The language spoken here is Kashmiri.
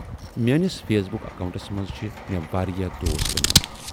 میٲنِس فیس بُک اکوئنٹس منز چھِ میہ واریاہ دوس بنے مٕتۍ۔